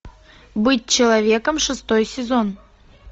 быть человеком шестой сезон